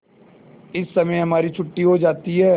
इस समय हमारी छुट्टी हो जाती है